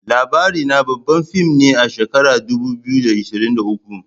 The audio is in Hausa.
LABARINA babban fim ne na shekarar 2023